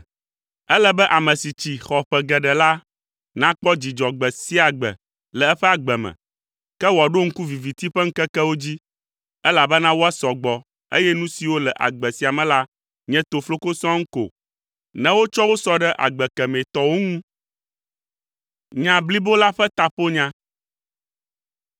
Ele be ame si tsi, xɔ ƒe geɖe la, nakpɔ dzidzɔ gbe sia gbe le eƒe agbe me, ke wòaɖo ŋku viviti ƒe ŋkekewo dzi, elabena woasɔ gbɔ, eye nu siwo le agbe sia me la nye tofloko sɔŋ ko, ne wotsɔ wo sɔ ɖe agbe kemɛ tɔwo ŋu.